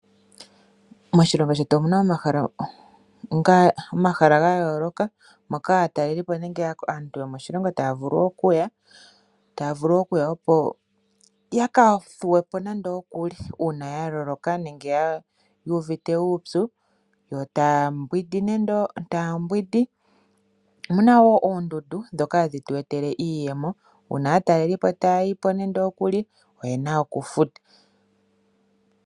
Moshilongo shetu omuna omahala gayooloka moka aatalelipo nenge aantu yomoshilongo taya vulu okuya, opo yaka thuwe po nando kuli uuna yaloloka nenge yuuvite uupyu yo taa yogo. Omuna wo oondundu dhoka hadhi tu etele iiyemo uuna aatalelipo taya yi po oyena oku futa.